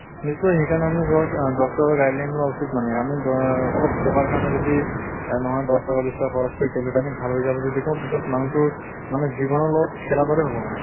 নিশ্চয় সেই কাৰণে ধৰক আহ doctor ৰৰ guideline লোৱা উচিত মানে। আমি দ অলপ টকাৰ কাৰণে যদি নহয় দশ টকা বিছ টকা খৰচ কৰি tablet আনি ভাল হৈ যাব যদি কওঁ পিছত মানুহ্টোৰ জীৱনৰ লগত খেলা দৰে হʼব মানে।